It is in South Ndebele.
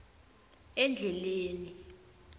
endleleni